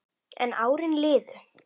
En árin liðu.